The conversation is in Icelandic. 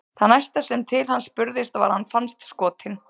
Það næsta sem til hans spurðist var að hann fannst skotinn.